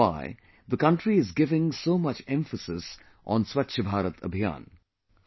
That is why the country is giving so much emphasis on Swachh BharatAbhiyan